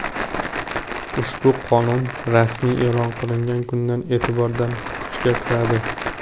Ushbu qonun rasmiy e’lon qilingan kundan e’tibordan kuchga kiradi.